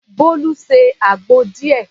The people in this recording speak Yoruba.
Bolu se àgbo díẹ̀.